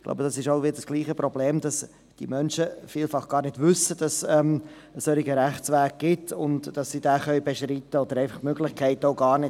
Hier ist wieder das gleiche Problem, dass diese Menschen vielfach gar nicht wissen, dass es einen solchen Rechtsweg gibt und dass sie diesen beschreiten können, oder sie haben die Möglichkeit dafür gar nicht.